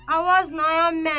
Avoz nəyan mən.